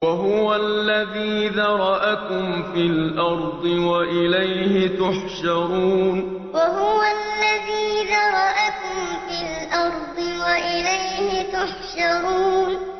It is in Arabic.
وَهُوَ الَّذِي ذَرَأَكُمْ فِي الْأَرْضِ وَإِلَيْهِ تُحْشَرُونَ وَهُوَ الَّذِي ذَرَأَكُمْ فِي الْأَرْضِ وَإِلَيْهِ تُحْشَرُونَ